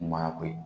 Ɲuman ko ye